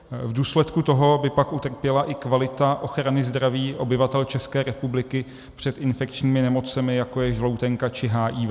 V důsledku toho by pak utrpěla i kvalita ochrany zdraví obyvatel České republiky před infekčními nemocemi, jako je žloutenka či HIV.